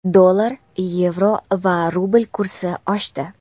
Dollar, yevro va rubl kursi oshdi.